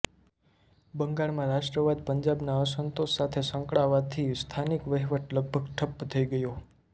બંગાળમાં રાષ્ટ્રવાદ પંજાબના અસંતોષ સાથે સંકળાવાથી સ્થાનીય વહીવટ લગભગ ઠપ્પ થઈ ગયો